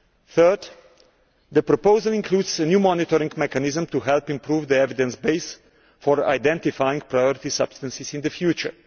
Thirdly, the proposal includes a new monitoring mechanism to help improve the evidence base for identifying priority substances in the future.